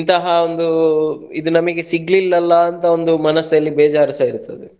ಇಂತಹ ಒಂದು ಇದು ನಮ್ಗೆ ಸಿಗ್ಲಿಲ್ಲಲ್ಲಾ ಅಂತ ಒಂದು ಮನಸಲ್ಲಿ ಬೇಜಾರ್ಸ ಇರ್ತದೆ.